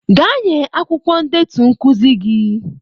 Gaa nye akwụkwọ ndetu nkuzi gị.